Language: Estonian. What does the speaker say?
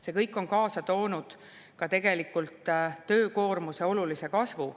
See kõik on tegelikult kaasa toonud töökoormuse olulise kasvu.